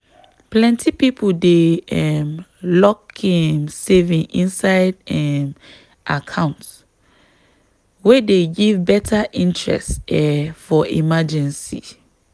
plenty people dey um lock im saving inside um account wey dey give better interest um for emergency.